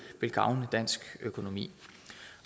vil gavne dansk økonomi